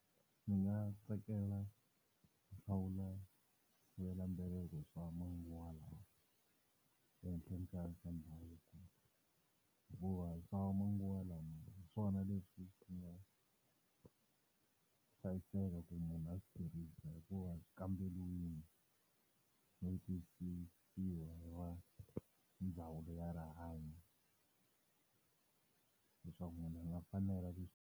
Ndzi nga tsakela ku hlawula swisivelambeleko swa manguva lawa ehenhleni ka swa ndhavuko. Hikuva swa manguva lawa hi swona leswi swi nga hlayiseka ku munhu a swi tirhisa hikuva swi kamberiwile no tiyisisiwa hi ndzawulo ya rihanyo, leswaku munhu a nga fanela .